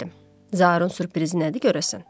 Zaurun sürprizinədir görəsən?